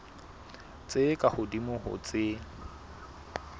tse ka hodimo ho tse